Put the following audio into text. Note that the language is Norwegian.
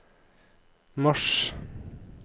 mars